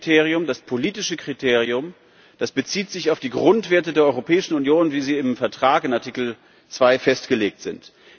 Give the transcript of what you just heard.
Das erste Kriterium, das politische Kriterium, bezieht sich auf die Grundwerte der Europäischen Union, wie sie im Vertrag in Artikel 2 festgelegt sind.